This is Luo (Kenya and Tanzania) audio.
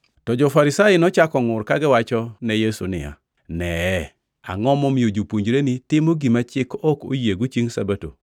To jo-Farisai nochako ngʼur kagiwachone Yesu niya, “Neye, angʼo momiyo jopuonjreni timo gima chik ok oyiego chiengʼ Sabato?”